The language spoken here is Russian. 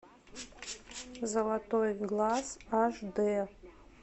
золотой глаз аш дэ